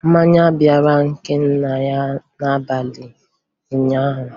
Mmanya bara Ikenna anya n'abalị ụnyaahụ